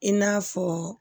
I n'a fɔ